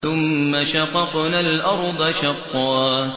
ثُمَّ شَقَقْنَا الْأَرْضَ شَقًّا